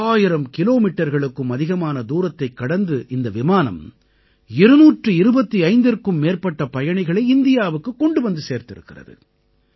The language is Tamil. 10000 கிலோமீட்டர்களுக்கும் அதிகமான தூரத்தைக் கடந்து இந்த விமானம் 225ற்கும் மேற்பட்ட பயணிகளை இந்தியாவுக்குக் கொண்டு வந்து சேர்த்திருக்கிறது